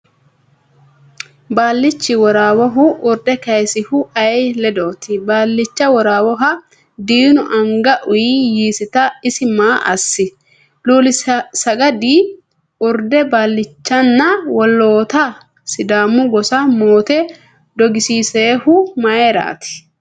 Baallichi Worawohu urde kaysinohu ayee ledooti? Baallicha Worawoha diinu anga uy yiisita isi maa assi? Luulsaggadi urde baallichanna woloota Sidaamu gosa moote dogisiissinohu mayraati?